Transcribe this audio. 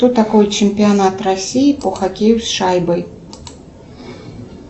что такое чемпионат россии по хоккею с шайбой